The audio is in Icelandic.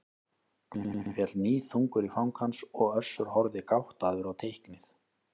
Krossinn féll níðþungur í fang hans og Össur horfði gáttaður á teiknið.